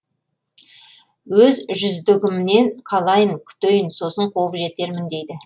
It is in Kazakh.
өз жүздігімнен қалайын күтейін сосын қуып жетермін дейді